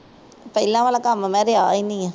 ਪਹਿਲਾਂ ਵਾਲਾ ਕੰਮ ਮੈਂ ਰਿਹਾ ਹੀ ਨਹੀ।